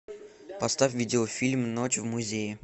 поставь видеофильм ночь в музее